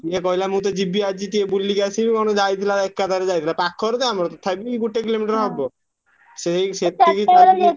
ସିଏ କହିଲା ମୁଁ ତ ଯିବି ଆଜି ଟିକେ ବୁଲିକି ଆସିବି କଣ ଯାଇଥିଲା ଏକା ତାର ଯାଇଥିଲା ପାଖରେ ତ ଆମର ତଥାପି ଗୋଟେ କିଲୋମିଟର ହବ। ସେଇ ସେତିକି